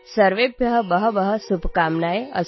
सर्वेभ्यः बहव्यः शुभकामनाः सन्ति